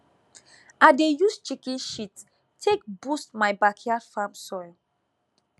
i dey use chicken shit take boost my backyard farm soil